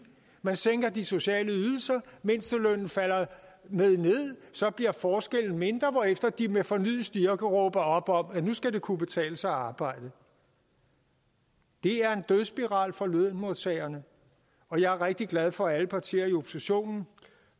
man sænker de sociale ydelser mindstelønnen falder med ned så bliver forskellene mindre hvorefter de med fornyet styrke råber op om at nu skal det kunne betale sig at arbejde det er en dødsspiral for lønmodtagerne og jeg er rigtig glad for at alle partier i oppositionen